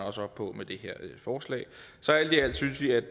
op på med det her forslag så alt i alt synes vi det